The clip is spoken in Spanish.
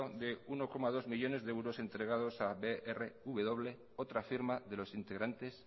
de uno coma dos millónes de euros entregado a brw otra firma de los integrantes